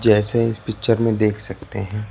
जैसे इस पिक्चर में देख सकते हैं।